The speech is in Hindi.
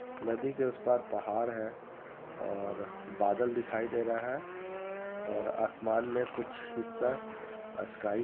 नदी के उअस पार पहाड़ है और बादल दिखई दे रहा है और आसमान में कुछ हिस्सा स्काई --